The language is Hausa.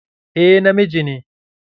Eh, na miji ne.